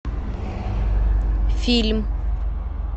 фильм